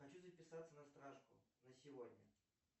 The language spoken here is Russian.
хочу записаться на стражку на сегодня